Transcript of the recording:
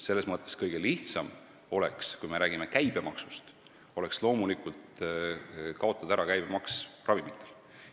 Selles mõttes oleks loomulikult kõige lihtsam, kui me räägime käibemaksust, kaotada ära käibemaks ravimitele.